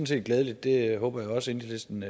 set glædeligt det håber jeg også enhedslisten